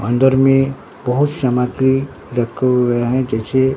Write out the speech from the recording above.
अंदर में बहोत सामग्री रखे हुवे हैं जैसे--